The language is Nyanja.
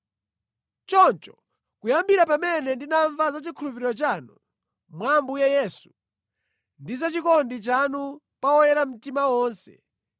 Choncho, kuyambira pamene ndinamva za chikhulupiriro chanu mwa Ambuye Yesu ndi za chikondi chanu pa oyera mtima onse,